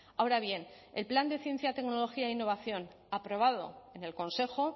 ahora bien el plan de ciencia tecnología e innovación aprobado en el consejo